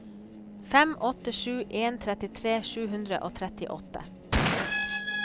fem åtte sju en trettitre sju hundre og trettiåtte